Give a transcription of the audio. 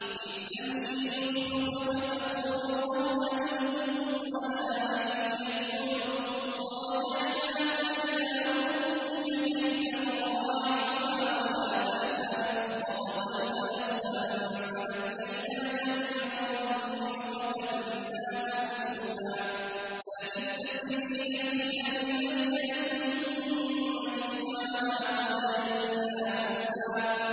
إِذْ تَمْشِي أُخْتُكَ فَتَقُولُ هَلْ أَدُلُّكُمْ عَلَىٰ مَن يَكْفُلُهُ ۖ فَرَجَعْنَاكَ إِلَىٰ أُمِّكَ كَيْ تَقَرَّ عَيْنُهَا وَلَا تَحْزَنَ ۚ وَقَتَلْتَ نَفْسًا فَنَجَّيْنَاكَ مِنَ الْغَمِّ وَفَتَنَّاكَ فُتُونًا ۚ فَلَبِثْتَ سِنِينَ فِي أَهْلِ مَدْيَنَ ثُمَّ جِئْتَ عَلَىٰ قَدَرٍ يَا مُوسَىٰ